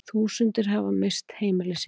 Þúsundir hafa misst heimili sín